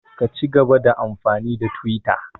Ka cigaba da amfani da twita!